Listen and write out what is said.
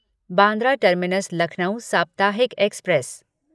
Bandra terminus Lucknow साप्ताहिक express